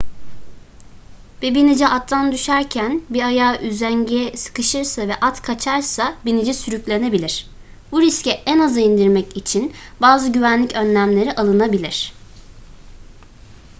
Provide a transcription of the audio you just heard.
bir binici attan düşerken bir ayağı üzengiye sıkışırsa ve at kaçarsa binici sürüklenebilir bu riski en aza indirmek için bazı güvenlik önlemleri alınabilir